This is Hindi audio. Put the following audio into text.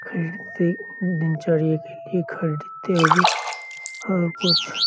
खरीदते दिनचर्या के लिए खरीदते हुए और कुछ --